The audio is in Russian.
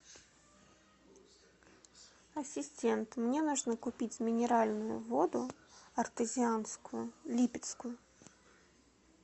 ассистент мне нужно купить минеральную воду артезианскую липецкую